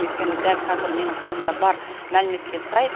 өйткені дәл кәзір менің қолымда бар мәліметке сай